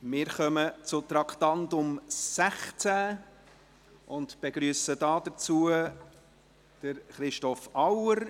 Wir kommen zu Traktandum 16 und begrüssen dazu den Staatsschreiber Christoph Auer.